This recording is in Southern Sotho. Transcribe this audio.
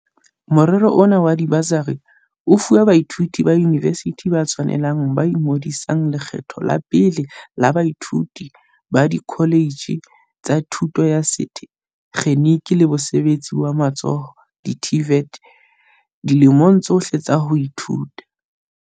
Morero ona wa dibasari o fuwa baithuti ba yunivesithi ba tshwanelang ba ingodisang lekgetlo la pele le baithuti ba dikholetjhe tsa thuto ya sethe kgeniki le mosebetsi wa matsoho, di-TVET, dilemong tsohle tsa ho ithuta.